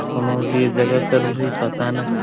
कौनों दिर जगह कर कोई पता नईखे ।